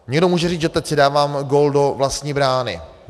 Někdo může říct, že teď si dávám gól do vlastní brány.